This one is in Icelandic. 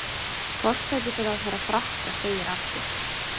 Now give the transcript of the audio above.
Forsætisráðherra Frakka segir af sér